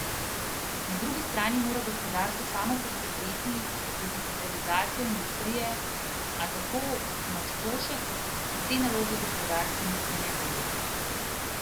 Na drugi strani mora gospodarstvo samo poskrbeti za digitalizacijo industrije, a, tako Mačkošek, se te naloge gospodarstveniki ne bojijo.